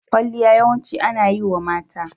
Kwalliya yawanci ana yi wa mata.